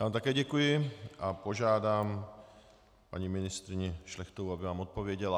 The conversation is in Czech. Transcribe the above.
Já vám také děkuji a požádám paní ministryni Šlechtovou, aby vám odpověděla.